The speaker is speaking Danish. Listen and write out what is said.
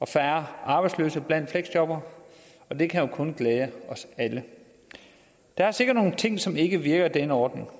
færre arbejdsløse blandt fleksjobbere og det kan jo kun glæde os alle der er sikkert nogle ting som ikke virker i denne ordning